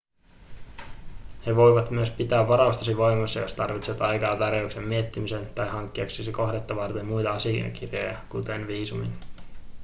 he voivat myös pitää varaustasi voimassa jos tarvitset aikaa tarjouksen miettimiseen tai hankkiaksesi kohdettasi varten muita asiakirjoja esim. viisumin